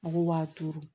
Mɔgɔw b'a turu